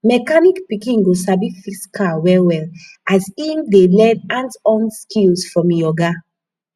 mechanic pikin go sabi fix car well well as in dey learn hands-on skills from e oga